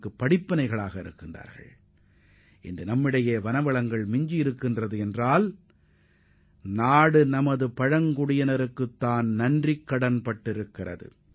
நாட்டில் தற்போதுள்ள வனப்பகுதிகள் தொடர்ந்து வனப்பகுதிகளாகவே இருக்கச் செய்வதற்காக நாம் நமது பழங்குடியின மக்களுக்கு பெரிதும் கடமைப்பட்டுள்ளோம்